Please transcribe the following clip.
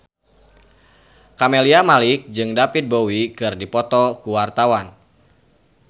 Camelia Malik jeung David Bowie keur dipoto ku wartawan